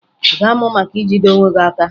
Ị ga-amụ maka ijide onwe gị aka?